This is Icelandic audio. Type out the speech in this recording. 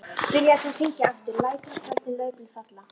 Byrjaði svo að syngja aftur: LÆTUR Á KVÖLDIN LAUFBLÖÐ FALLA.